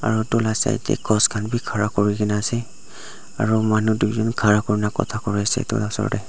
aro etu la side te khas khanbi khara kurikena ase aro manu duijon khara kurikena Kota kuri ase etu la osor te.